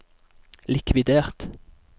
likvidert